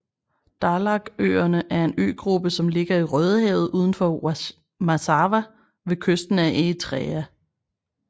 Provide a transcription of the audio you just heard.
Dahlakøerne er en øgruppe som ligger i Rødehavet udenfor Massawa ved kysten af Eritrea